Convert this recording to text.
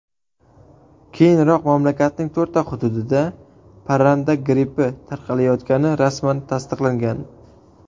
Keyinroq mamlakatning to‘rtta hududida parranda grippi tarqalayotgani rasman tasdiqlangan .